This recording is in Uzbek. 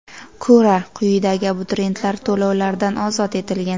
ko‘ra, quyidagi abituriyentlar to‘lovlardan ozod etilgan:.